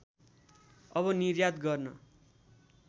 अब निर्यात गर्न